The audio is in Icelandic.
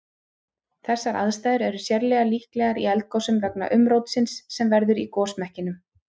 Þessar aðstæður er sérlega líklegar í eldgosum vegna umrótsins sem verður í gosmekkinum.